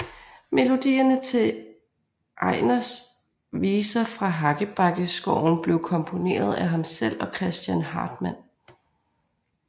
Melodierne til Egners viser fra Hakkebakkeskoven blev komponeret af ham selv og Christian Hartmann